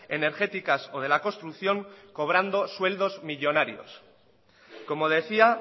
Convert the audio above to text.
energéticas o de la construcción cobrando sueldos millónarios como decía